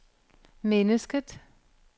mennesket